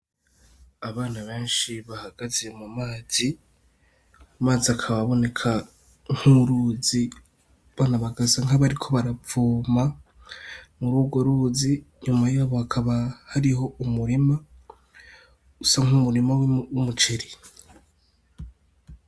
Abana benshi bahagaze mu mazi, amazi akaba aboneka nk'uruzi abana bagasa nkabariko baravoma muri urwo ruzi inyuma yabo hakaba hariho umurima usa nk'umurima w'umuceri.